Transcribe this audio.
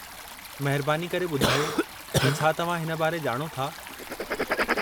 महिरबानी करे ॿुधायो त छा तव्हां हिन बारे ॼाणो था?